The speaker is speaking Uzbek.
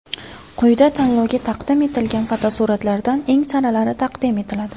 Quyida tanlovga taqdim etilgan fotosuratlardan eng saralari taqdim etiladi.